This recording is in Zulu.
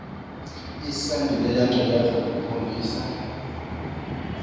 lesandulela ngculazi lukhombisa